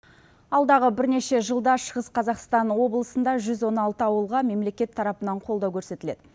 алдағы бірнеше жылда шығыс қазақстан облысында жүз он алты ауылға мемлекет тарапынан қолдау көрсетіледі